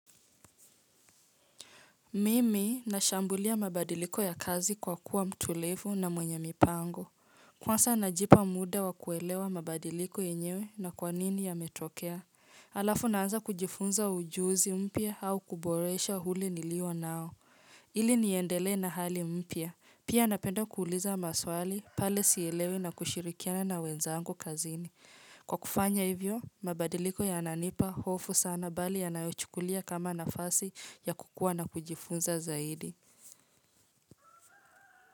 Mimi nashambulia mabadiliko ya kazi kwa kuwa mtulivu na mwenye mipango. Kwanza najipa muda wa kuelewa mabadiliko yenyewe na kwanini yametokea. Alafu naanza kujifunza ujuzi mpya au kuboresha ule nilionao. Ili niendelee na hali mpya. Pia napenda kuuliza maswali pale sielewi na kushirikiana na wenzangu kazini. Kwa kufanya hivyo, mabadiliko yananipa hofu sana bali yanayochukulia kama nafasi ya kukua na kujifunza zaidi.